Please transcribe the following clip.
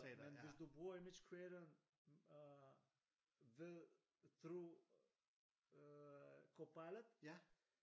Men hvis du bruger image creator øh ved through Copilot